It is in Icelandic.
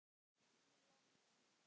í London.